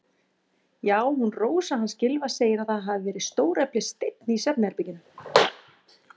Já, hún Rósa hans Gylfa segir að það hafi verið stóreflis steinn í svefnherberginu.